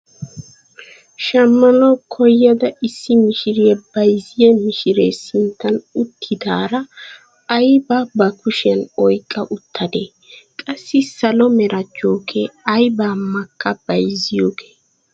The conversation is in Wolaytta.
Shammanawu koyada issi mishiriyaa bayzziyaa mishiree sinttan uttidaara aybaa ba kushiyaan oyqqa uttadee? Qassi salo mera jookee aybaa makka bayzziyoogee?